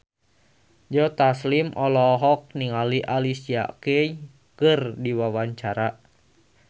Joe Taslim olohok ningali Alicia Keys keur diwawancara